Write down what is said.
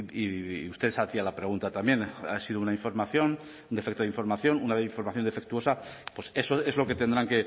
y usted se hacía la pregunta también ha sido la información un defecto de información una información defectuosa pues eso es lo que tendrán